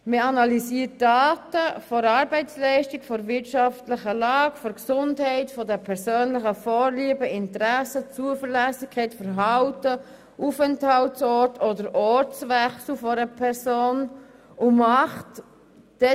Es werden Daten der Arbeitsleistung, der wirtschaftlichen Lage, der Gesundheit, der persönlichen Vorlieben und Interessen sowie die Zuverlässigkeit, das Verhalten, der Aufenthaltsort oder der Ortswechsel einer Person analysiert.